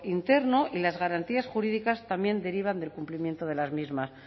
interno y las garantías jurídicas también derivan del cumplimiento de las mismas